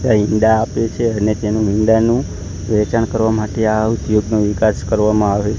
તે ઇંડા આપે છે અને તેનું ઇંડાનું વેચાણ કરવા માટે આ ઉદ્યોગનું વિકાસ કરવામાં આવે.